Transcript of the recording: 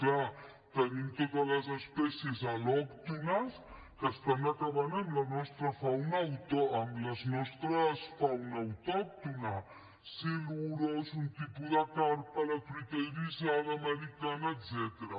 clar tenim totes les espècies al·lòctones que estan acabant amb la nostra fauna autòctona silurs un tipus de carpa la truita irisada americana etcètera